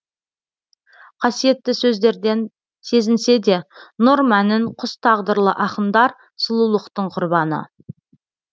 қасиетті сөздерден сезінседе нұр мәнін құс тағдырлы ақындар сұлулықтың құрбаны